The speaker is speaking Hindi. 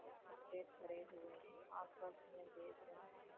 इक्क्ठे हुए है आपस मे देख रहे है।